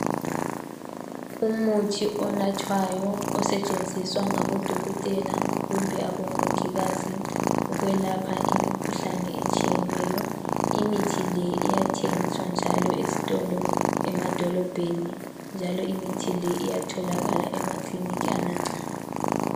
Umuthi onathwayo osetshenziswa ngabodokotela kumbe abomongikazi ukwelapha imikhuhlane etshiyeneyo imithi le iyathengiswa njalo ezitolo emadolobheni njalo imithi iyatholakala emakiliniki amancane